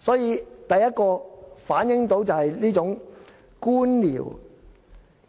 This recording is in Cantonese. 所以，第一，反映出這種官僚